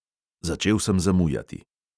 Začel sem zamujati.